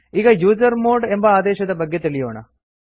ಈಗ ಯುಸರ್ಮಾಡ್ ಎಂಬ ಆದೇಶದ ಬಗ್ಗೆ ತಿಳಿಯೋಣ